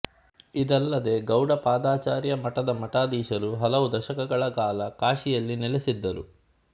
ಇದಲ್ಲದೇ ಗೌಡಪಾದಾಚಾರ್ಯ ಮಠದ ಮಠಾಧೀಶರು ಹಲವು ದಶಕಗಳ ಕಾಲ ಕಾಶಿಯಲ್ಲಿ ನೆಲೆಸಿದ್ದರು